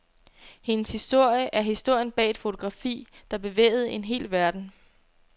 Hendes historie er historien bag et fotografi, der bevægede en hel verden.